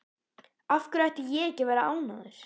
Af hverju ætti ég ekki að vera ánægður?